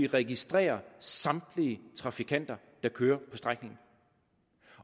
registrerer samtlige trafikanter der kører på strækningen